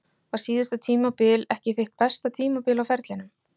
Var síðasta tímabil ekki þitt besta tímabil á ferlinum?